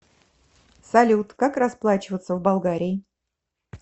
салют как расплачиваться в болгарии